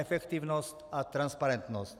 Efektivnost a transparentnost...